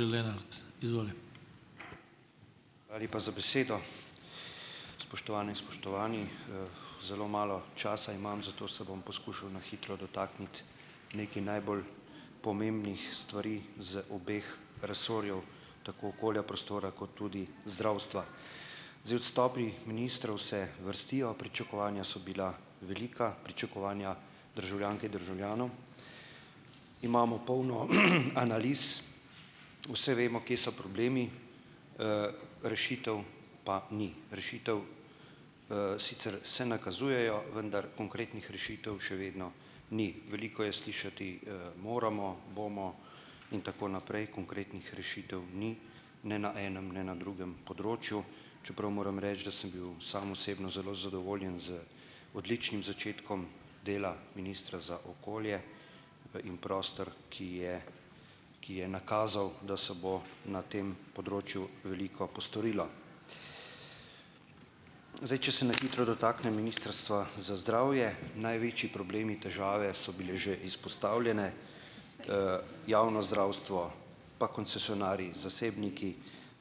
Hvala lepa za besedo. Spoštovane in spoštovani. Zelo malo časa imam, zato se bom poskušal na hitro dotakniti nekaj najbolj pomembnih stvari z obeh resorjev, tako okolja, prostora kot tudi zdravstva. Zdaj odstopi ministrov se vrstijo, pričakovanja so bila velika. Pričakovanja državljank, državljanov. Imamo polno analiz, vse vemo, kje so problemi, rešitev pa ni, rešitve, sicer se nakazujejo, vendar konkretnih rešitev še vedno ni. Veliko je slišati, "moramo", "bomo" in tako naprej, konkretnih rešitev ni, ne na enem, ne na drugem področju, čeprav moram reči, da sem bil sam osebno zelo zadovoljen z odličnim začetkom dela ministra za okolje in prostor, ki je ki je nakazal, da se bo na tem področju veliko postorilo. Zdaj, če se na hitro dotaknem Ministrstva za zdravje. Največji problemi, težave, so bile že izpostavljene. javno zdravstvo pa koncesionarji, zasebniki,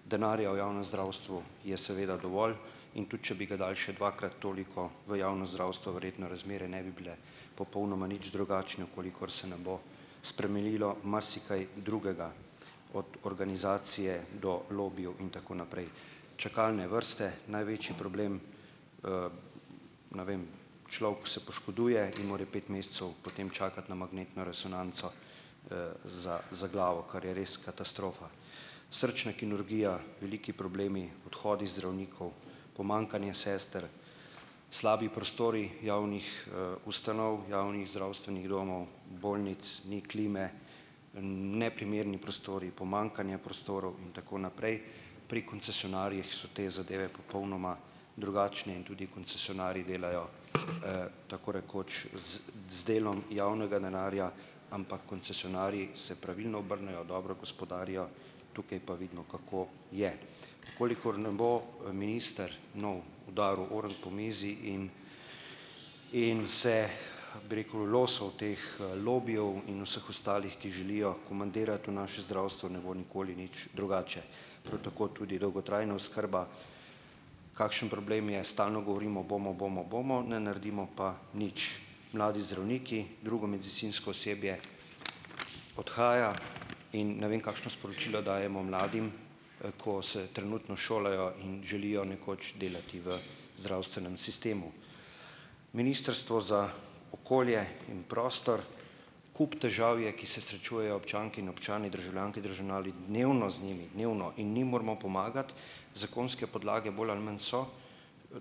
denarja v javnem zdravstvu je seveda dovolj, in tudi če bi ga dali še dvakrat toliko v javno zdravstvo, verjetno razmere ne bi bile popolnoma nič drugačne, v kolikor se ne bo spremenilo marsikaj drugega - od organizacije do lobijev in tako naprej. Čakalne vrste, največji problem, ne vem, človek se poškoduje in mora pet mesecev potem čakati na magnetno resonanco, za za glavo, kar je res katastrofa. Srčna kirurgija, veliki problemi, odhodi zdravnikov, pomanjkanje sester, slabi prostori javnih, ustanov, javnih zdravstvenih domov, bolnic, ni klime, neprimerni prostori, pomanjkanje prostorov in tako naprej, pri koncesionarjih so te zadeve popolnoma drugačne in tudi koncesionarji delajo, tako rekoč z z delom javnega denarja, ampak koncesionarji se pravilno obrnejo, dobro gospodarijo, tukaj pa vidimo, kako je. V kolikor ne bo minister nov udaril "ornk" po mizi in in se, bi rekel, losal teh lobijev in vseh ostalih, ki želijo komandirati, v našem zdravstvu ne bo nikoli nič drugače. Prav tako tudi dolgotrajna oskrba, kakšen problem je. Stalno govorimo: "Bomo, bomo, bomo," ne naredimo pa nič. Mladi zdravniki, drugo medicinsko osebje odhaja in ne vem, kakšna sporočila dajemo mladim, ko se trenutno šolajo in želijo nekoč delati v zdravstvenem sistemu. Ministrstvo za okolje in prostor. Kup težav je, ki se srečujejo občanke in občani, državljanke in državljani dnevno z njimi, dnevno in mi moramo pomagati. Zakonske podlage bolj ali manj so,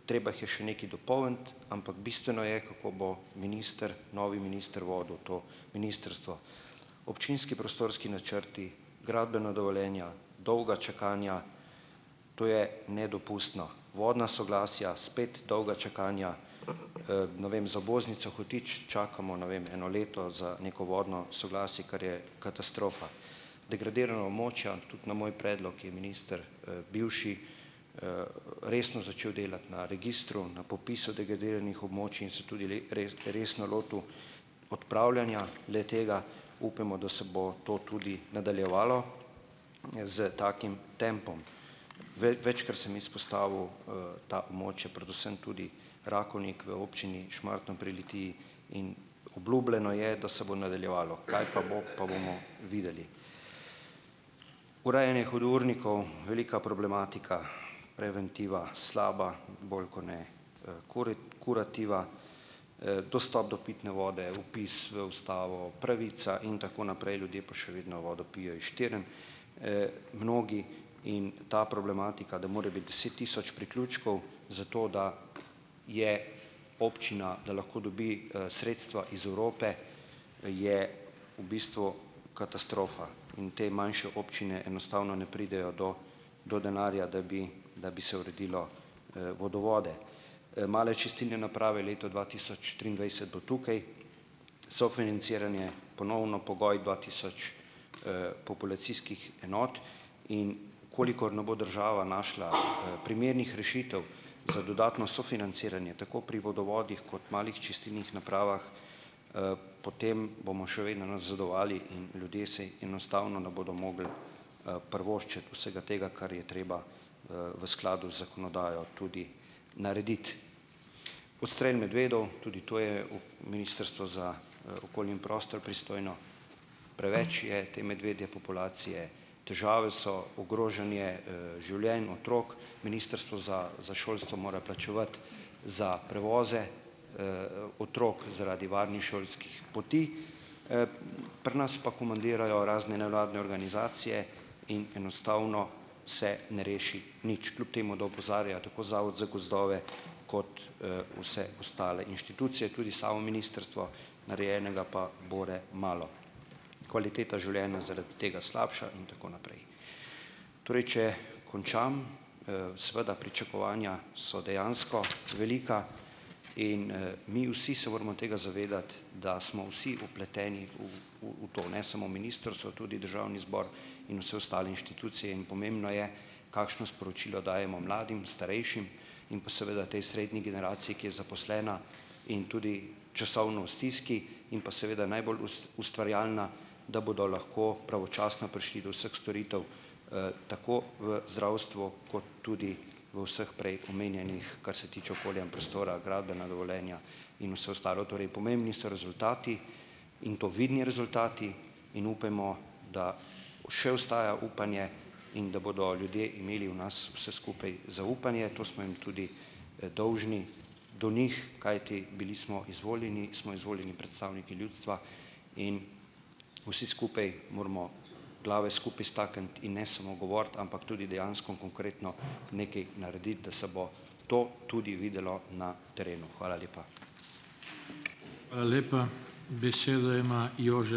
treba jih je še nekaj dopolniti, ampak bistveno je, kako bo minister, novi minister, vodil to ministrstvo. Občinski prostorski načrti, gradbena dovoljenja, dolga čakanja, to je nedopustno. Vodna soglasja, spet dolga čakanja. Ne vem, za obvoznico Hotič čakamo, ne vem, eno leto za neko vodno soglasje, kar je katastrofa. Degradirana območja, tudi na moj predlog je minister, bivši, resno začel delati na registru, na popisu degradiranih območij in se tudi resno lotil odpravljanja le-tega. Upajmo, da se bo to tudi nadaljevalo, s takim tempom. Večkrat sem izpostavil, ta območja, predvsem tudi Rakovnik v občini Šmartno pri Litiji in obljubljeno je, da se bo nadaljevalo, kaj pa bo, pa bomo videli. Urejanje hudournikov - velika problematika, preventiva slaba, bolj kot ne, kurativa, dostop do pitne vode, vpis v ustavo, pravica in tako naprej, ljudje pa še vedno vodo pijejo iz štern, mnogi in ta problematika, da more biti deset tisoč priključkov za to, da je občina, da lahko dobi, sredstva iz Evrope, je v bistvu katastrofa in te manjše občine enostavno ne pridejo do do denarja, da bi da bi se uredilo, vodovode. Male čistilne naprave, leto dva tisoč triindvajset bo tukaj, sofinanciranje ponovno pogoj dva tisoč, populacijskih enot, in v kolikor ne bo država našla primernih rešitev za dodatno sofinanciranje, tako pri vodovodih kot malih čistilnih napravah, potem bomo še vedno nazadovali in ljudje si enostavno ne bodo mogli, privoščiti vsega tega, kar je treba, v skladu z zakonodajo tudi narediti. Odstrel medvedov. Tudi to je Ministrstvo za okolje in prostor pristojno. Preveč je te medvedje populacije, težave so, ogrožanje, življenj otrok. Ministrstvo za za šolstvo mora plačevati za prevoze, otrok zaradi varnih šolskih poti, pri nas pa komandirajo razne nevladne organizacije in enostavno se ne reši nič, kljub temu da opozarja tako Zavod za gozdove kot, vse ostale inštitucije, tudi samo ministrstvo, narejenega pa bore malo. Kvaliteta življena zaradi tega slabša in tako naprej. Torej, če končam. Seveda pričakovanja so dejansko velika in mi vsi se moramo tega zavedati, da smo vsi vpleteni v v to, ne samo ministrstvo, tudi državni zbor in vse ostale inštitucije in pomembno je, kakšno sporočilo dajemo mladim, starejšim in pa seveda tej srednji generaciji, ki je zaposlena in tudi časovno v stiski in pa seveda najbolj ustvarjalna, da bodo lahko pravočasno prišli do vseh storitev, tako v zdravstvu kot tudi v vseh prej omenjenih, kar se tiče okolja in prostora, gradbena dovoljenja in vse ostalo. Torej pomembni so rezultati in to vidni rezultati in upajmo, da še ostaja upanje in da bodo ljudje imeli v nas vse skupaj zaupanje, to smo jim tudi, dolžni do njih, kajti bili smo izvoljeni, smo izvoljeni predstavniki ljudstva in vsi skupaj moramo glave skupaj stakniti in ne samo govoriti, ampak tudi dejansko konkretno nekaj narediti, da se bo to tudi videlo na terenu. Hvala lepa.